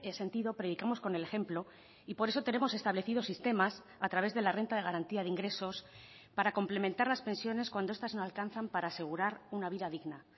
sentido predicamos con el ejemplo y por eso tenemos establecido sistemas a través de la renta de garantía de ingresos para complementar las pensiones cuando estas no alcanzan para asegurar una vida digna